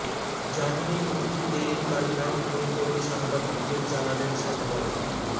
জামিনে মুক্তি পেয়েই কান্নায় ভেঙে পড়ে সাংবাদিকদের জানালেন সন্ময়